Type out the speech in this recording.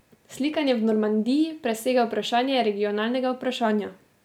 Slikanje v Normandiji presega vprašanje regionalnega vprašanja.